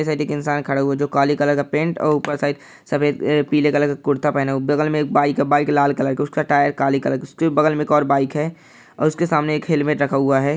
Side में एक इंसान खड़ा हुए जो काले कलर का पेंट और ऊपर शायद सफ़ेद पीला कलर का कुर्ता पहना हुआ बगल में एक बाइक है बाइक लाल कलर की उसका टायर काली कलर की उसके बगल में एक और बाइक है और उसके सामने एक हैलमेट रखा हुआ है।